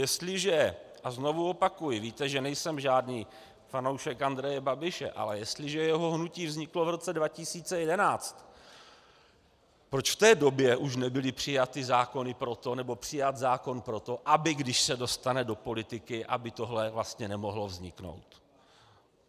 Jestliže - a znovu opakuji, víte, že nejsem žádný fanoušek Andreje Babiše, ale jestliže jeho hnutí vzniklo v roce 2011, proč v té době už nebyly přijaty zákony pro to, nebo přijat zákon pro to, aby když se dostane do politiky, aby tohle vlastně nemohlo vzniknout?